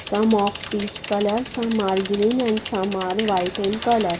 some of peach colours some are green and some are white in colour.